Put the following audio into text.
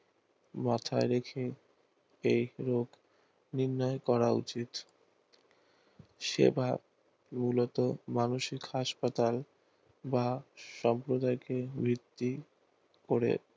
মাথার ঔষধ এই ক্রোধ নির্ণয় করা উচিত সেবার মূলত মানসিক হাসপাতাল বা সাম্প্রদায়কে ভিত্তি করে